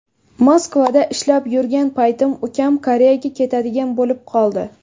Moskvada ishlab yurgan paytim ukam Koreyaga ketadigan bo‘lib qoldi.